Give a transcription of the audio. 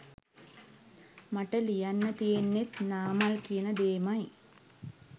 මට ලියන්න තියෙන්නෙත් නාමල් කියන දේමයි.